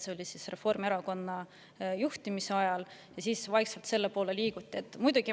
See oli Reformierakonna juhtimise ajal ja selle poole vaikselt liiguti.